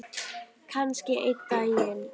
Kannski einn daginn.